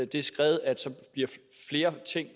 det skred at flere ting